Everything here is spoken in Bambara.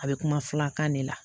A bɛ kuma filakan de la